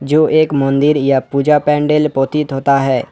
जो एक मंदिर या पूजा पंडाल पतीत होता है।